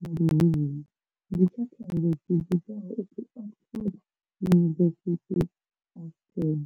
nga Luhuhi ndi tsha khaelo dzi vhidzwaho u pfi Oxford University-AstraZ.